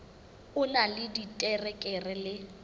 o na le diterekere le